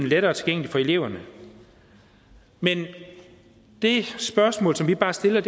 lettere tilgængeligt for eleverne men det spørgsmål som vi bare stiller